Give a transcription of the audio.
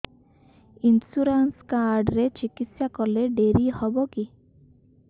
insurance card ରେ ଚିକିତ୍ସା କଲେ ଡେରି ହବକି